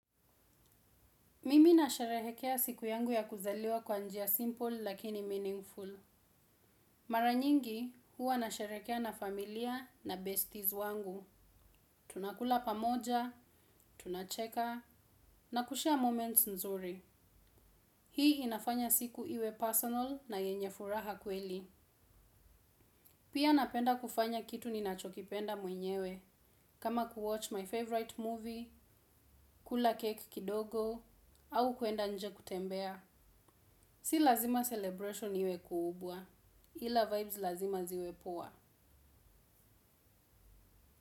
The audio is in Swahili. Mimi na sherehekea siku yangu ya kuzaliwa kwa njia simple lakini meaningful. Maranyingi huwa nasherekea na familia na besties wangu. Tunakula pamoja, tunacheka, na kushare moments nzuri. Hii inafanya siku iwe personal na yenye furaha kweli. Pia napenda kufanya kitu ninachokipenda mwenyewe. Kama kuwatch my favorite movie, kula cake kidogo, au kuenda nje kutembea. Si lazima celebration iwe kubwa. Ila vibes lazima ziwe poa.